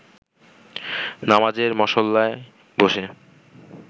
নামাজের মসল্লায় বসে